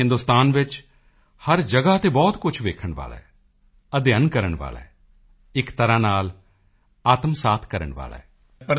ਲੇਕਿਨ ਹਿੰਦੁਸਤਾਨ ਵਿੱਚ ਹਰ ਜਗ੍ਹਾ ਤੇ ਬਹੁਤ ਕੁਝ ਵੇਖਣ ਵਾਲਾ ਹੈ ਅਧਿਐਨ ਕਰਨ ਵਾਲਾ ਹੈ ਅਤੇ ਇੱਕ ਤਰ੍ਹਾਂ ਆਤਮਾ ਸਾਫ ਕਰਨ ਜਿਹਾ ਹੈ